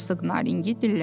Herq Nadilləndi.